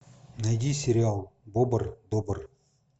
найди сериал бобр добр